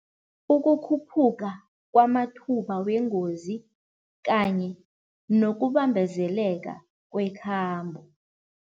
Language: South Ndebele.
Ukukhuphuka kwamathuba wengozi kanye nokubambezeleka kwekhambo.